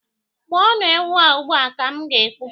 Gbuo nu ewu a ugbua! ka m ga- ekwu.